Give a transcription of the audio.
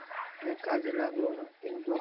হ্যা কাজে লাগলোনা কিন্তু